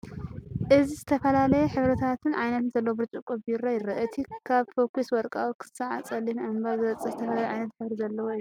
እዚ ዝተፈላለየ ሕብርታትን ዓይነትን ዘለዎ ብርጭቆ ቢራ የርኢ። እቲ ኻብ ፈኲስ ወርቃዊ ኽሳዕ ጸሊም ኣምበር ዝበጽሕ ዝተፈላለየ ዓይነት ሕብሪ ዘለዎ እዩ ።